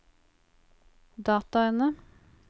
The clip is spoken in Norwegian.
dataene